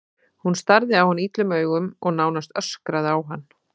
Hún starði á hann illum augum og nánast öskraði á hann.